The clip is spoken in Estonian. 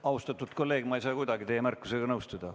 Austatud kolleeg, ma ei saa kuidagi teie märkusega nõustuda.